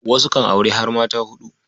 Wasu kan auri har mata huɗu.